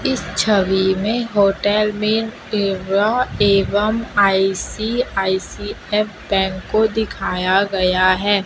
इस छवि में होटल में सेवा एवं आइ_सी_आइ_सी_एफ बैंक को दिखाया गया है।